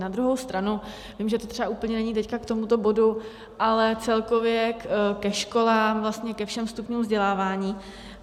Na druhou stranu vím, že to třeba úplně není teď k tomuto bodu, ale celkově ke školám, vlastně ke všem stupňům vzdělávání.